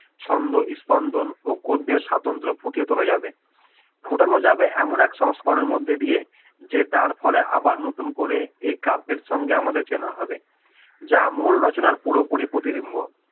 ছন্দ স্পন্দন ও গদ্যের স্বাতন্ত্র ফুটিয়ে তোলা যাবে, ফোটানো যাবে এমন এক সংস্করণের মধ্যে দিয়ে যে তার ফলে আবার নতুন করে এ কাব্যের সঙ্গে আমাদের চেনা হবে যা মূল রচনার পুরোপুরি প্রতিভিম্ব